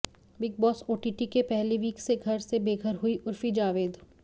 big Boss OTT के पहले week से घर से बेघर हुईं उर्फी जावेद